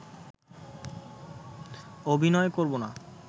অভিনয় করব না